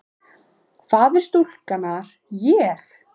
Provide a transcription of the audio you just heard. Faðir stúlkunnar: Ég?